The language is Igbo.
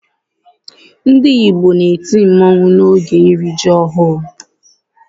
Ndị Igbo na-eti mmọnwụ oge iri ji ọhụrụ